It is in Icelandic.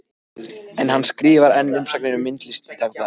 En hann skrifar enn umsagnir um myndlist í Dagblaðið.